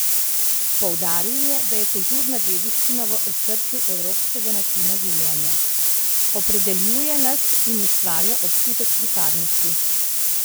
Poudaril je, da je kulturna dediščina v osrčju evropskega načina življenja: "Opredeljuje nas in ustvarja občutek pripadnosti.